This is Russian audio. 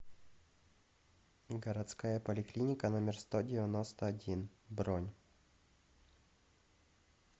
городская поликлиника номер сто девяносто один бронь